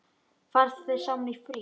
Farið þið saman í frí?